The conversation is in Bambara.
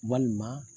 Walima